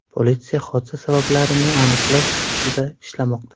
Politsiya hodisa sabablarini aniqlash ustida ishlamoqda.